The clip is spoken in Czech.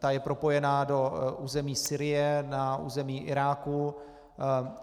Ta je propojena do území Sýrie, na území Iráku.